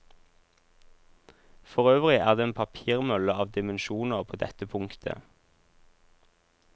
Forøvrig er det en papirmølle av dimensjoner på dette punktet.